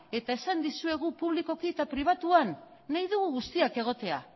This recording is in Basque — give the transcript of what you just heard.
eta esan dizuegu publikoki eta pribatuan nahi dugu guztiak egotea